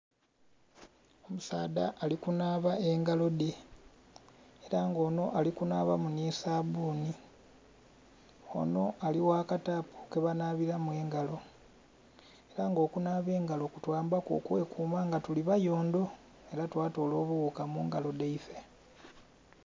Omusaadha ali kunhaba engalo dhe era nga onho ali kunhabamu nhi sabbuni, onho ali gha katapu ke banhabiramu engalo era okunhaba mungalo kutwambaku okwekuma nga tuli bayondho era twa toola obughuka mungalo dhaifee.